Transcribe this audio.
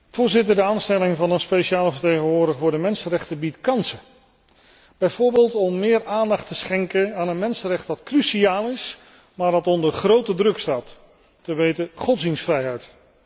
Voorzitter, de aanstelling van een speciale vertegenwoordiger voor de mensenrechten biedt kansen, bijvoorbeeld om meer aandacht te schenken aan een mensenrecht dat cruciaal is, maar wat onder grote druk staat, te weten godsdienstvrijheid.